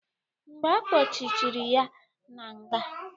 Mgbe akpochichere ya na nga.